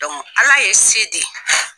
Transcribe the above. ala ye se di.